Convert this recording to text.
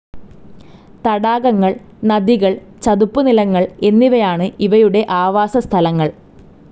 തടാകങ്ങൾ, നദികൾ, ചതുപ്പ് നിലങ്ങൾ എന്നിവയാണ് ഇവയുടെ ആവാസ സ്ഥലങ്ങൾ.